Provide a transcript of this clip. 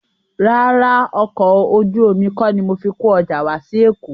Rárá, ọkọ̀ ojú omi kọ́ ni mo fi kó ọjà wá sí Èkó